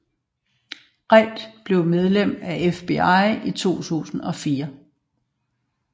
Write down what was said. Reid blev medlem af FBI i 2004